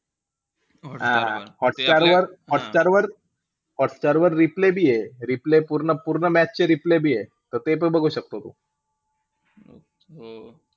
Hotstar वर, हॉटस्टारवर, hotstar वर, replay बी आहे replay पूर्ण-पूर्ण match चे replay बी आहे. त ते पण बघू शकतो तू.